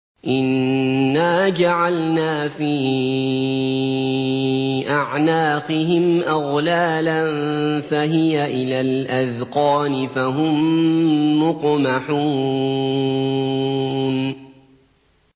إِنَّا جَعَلْنَا فِي أَعْنَاقِهِمْ أَغْلَالًا فَهِيَ إِلَى الْأَذْقَانِ فَهُم مُّقْمَحُونَ